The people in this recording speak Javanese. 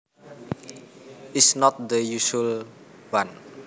is not the usual one